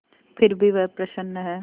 फिर भी वह प्रसन्न है